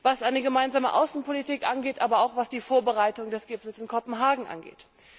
was eine gemeinsame Außenpolitik angeht, aber auch was die Vorbereitung des Gipfels in Kopenhagen angeht.